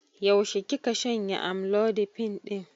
Yaushe kika shanye amlodipine ɗin?